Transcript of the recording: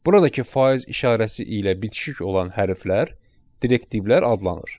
Buradakı faiz işarəsi ilə bitişik olan hərflər direktivlər adlanır.